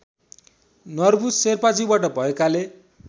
नर्बु शेर्पाज्यूबाट भएकाले